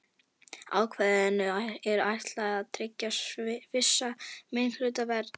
Ákvæðinu er ætlað að tryggja vissa minnihlutavernd.